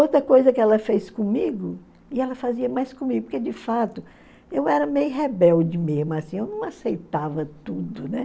Outra coisa que ela fez comigo, e ela fazia mais comigo, porque de fato eu era meio rebelde mesmo, assim, eu não aceitava tudo, né?